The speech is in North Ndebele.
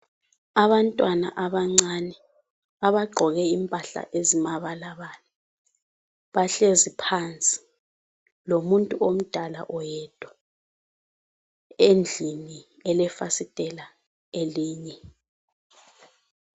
Abantwana abancane abagqoke impahla ezimabalabala bahlezi phansi lomuntu omdala oyedwa, endlini elefasitela elinye.